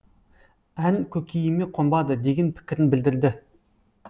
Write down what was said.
ән көкейіме қонбады деген пікірін білдірді